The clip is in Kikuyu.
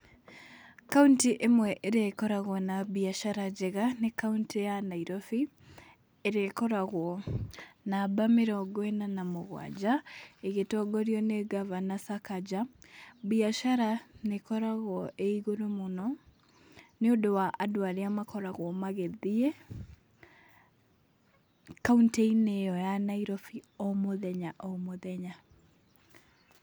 Kauntĩ ĩmwe ĩrĩa ĩkoragwo na mbiacara njega nĩ kauntĩ ya Nairobi, ĩrĩa ĩkoragwo namba mĩrongo ĩna na mũgwanja, ĩgĩtongorio nĩ ngavana Sakaja. Mbiacara nĩĩkoragwo ĩigũrũ mũno nĩũndũ wa andũ arĩa makoragwo magĩthiĩ kauntĩ-inĩ ĩo ya Nairobi o mũthenya o mũthenya .